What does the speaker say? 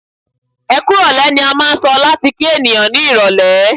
"Ẹkú ìrọ̀lẹ́" ni a máà ń sọ láti kí ènìyàn ní irọ̀lẹ́.